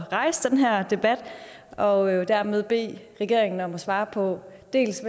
at rejse den her debat og jo dermed bede regeringen om at svare på dels